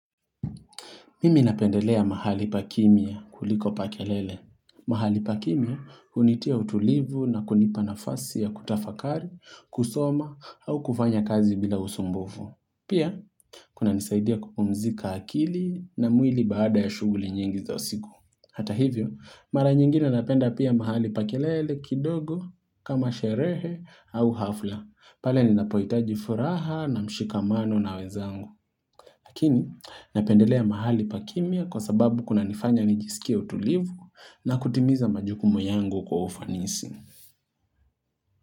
Mimi napendelea mahali pa kimya kuliko pa kelele. Mahali pa kimya unitia utulivu na kunipa nafasi ya kutafakari, kusoma au kufanya kazi bila usumbufu. Pia, kunanisaidia kupumzika akili na mwili baada ya shughuli nyingi za siku. Hata hivyo, mara nyingine napenda pia mahali pa kelele kidogo kama sherehe au hafla. Pale ninapohitaji furaha na mshikamano na wenzangu. Lakini napendelea mahali pa kimya kwa sababu kunanifanya nijisike utulivu na kutimiza majukumu yangu kwa ofanisi.